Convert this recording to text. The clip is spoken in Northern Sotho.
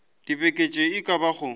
dibeke tše e ka bago